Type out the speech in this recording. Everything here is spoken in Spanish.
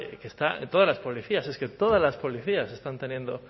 que está en todas las policías es que todas las policías están teniendo